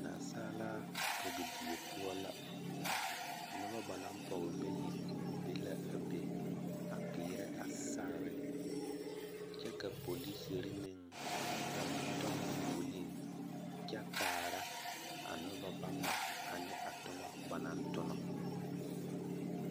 Nansaalaa pɔgedie poɔ la noba ba naŋ pɔge bayi be la a be a peerɛ a sagere kyɛ ka polisiri meŋ a tɔŋ foolii kyɛ kaara a noba bama ane a toma banaŋ tona.